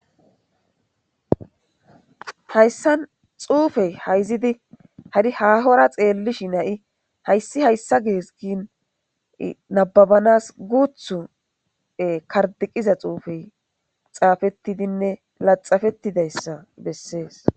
Hayssan tsuufee hayzidi hari haahora xeelllishinne hayssi hayssa ges gin nabbabanaas guuththo karxxiqida tsuufee xaafeththidinne laxxafeththidayssa bessees.